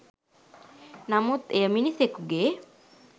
නමුත් එය මිනිසකුගේ